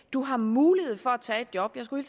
du har mulighed for at tage et job jeg skulle